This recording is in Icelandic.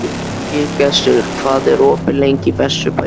Hlégestur, hvað er opið lengi í Vesturbæjarís?